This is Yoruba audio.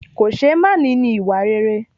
Kòṣeémání ni ìwà rere